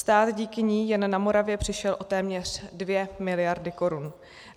Stát díky ní jen na Moravě přišel o téměř 2 miliardy korun.